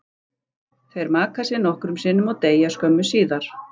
Þeir maka sig nokkrum sinnum og deyja skömmu síðar.